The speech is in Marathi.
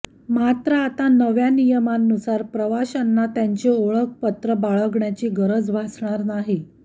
मात्र आता नव्या नियमांनुसार प्रवाशांना त्यांचे ओखळपत्र बाळगण्याची गरज भासणार नाही